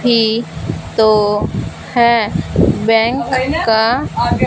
ये तो है बैंक का--